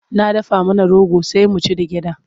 Na dafa mana rogo sai mu ci da gyaɗa.